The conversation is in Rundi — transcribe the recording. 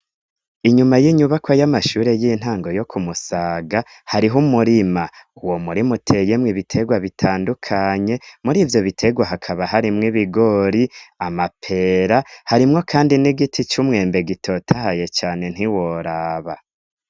Inyuma y'inyubako y'amashure y'intango yo kumusaga hariho umurima. Uwomurima uteyemwe ibitegwa bitandukanye mur'ivyobitegwa hakaba harimwo ibigori, amapera, harimwo kandi n'igiti c'umwembe gitotahaye cane ntiworaba.